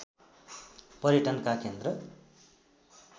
पर्यटनका केन्द्र